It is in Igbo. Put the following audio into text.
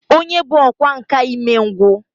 Onye bu ọkwá nkà imengwu